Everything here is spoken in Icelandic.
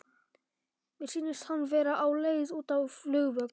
Mér sýnist hann vera á leið út á flugvöll.